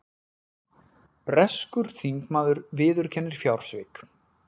Breskur þingmaður viðurkennir fjársvik